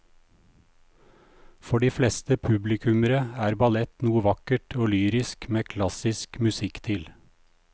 For de fleste publikummere er ballett noe vakkert og lyrisk med klassisk musikk til.